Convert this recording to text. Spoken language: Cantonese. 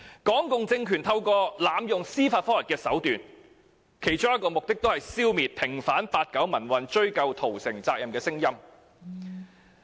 港共政權濫用司法覆核，其中一個目的是為了消滅平反八九民運、追究屠城責任的聲音。